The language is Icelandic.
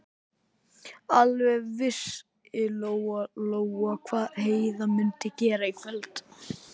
Alveg vissi Lóa-Lóa hvað Heiða mundi gera í kvöld.